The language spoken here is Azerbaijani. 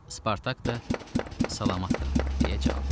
Spartak da salamat qal, deyə cavab verdi.